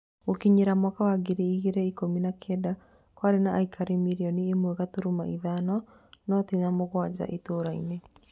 Gũgĩkinyĩria mwaka wa ngiri igĩrĩ ikũmi na Kenda, kwarĩ na aikari mirioni imwe gaturumo ithano, noti na mũgwanja itũra-inĩ